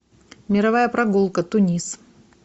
мировая прогулка тунис